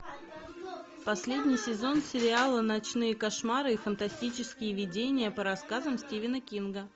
последний сезон сериала ночные кошмары и фантастические видения по рассказам стивена кинга